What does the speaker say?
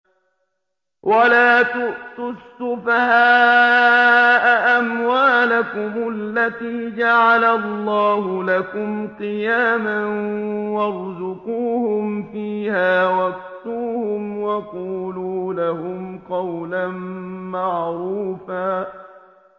وَلَا تُؤْتُوا السُّفَهَاءَ أَمْوَالَكُمُ الَّتِي جَعَلَ اللَّهُ لَكُمْ قِيَامًا وَارْزُقُوهُمْ فِيهَا وَاكْسُوهُمْ وَقُولُوا لَهُمْ قَوْلًا مَّعْرُوفًا